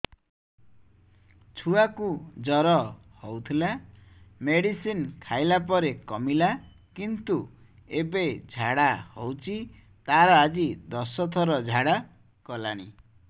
ଛୁଆ କୁ ଜର ହଉଥିଲା ମେଡିସିନ ଖାଇଲା ପରେ କମିଲା କିନ୍ତୁ ଏବେ ଝାଡା ହଉଚି ତାର ଆଜି ଦଶ ଥର ଝାଡା କଲାଣି